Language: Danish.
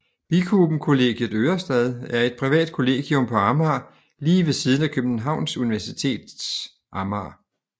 Bikuben Kollegiet Ørestad er et privat kollegium på Amager lige ved siden af Københavns Universitet Amager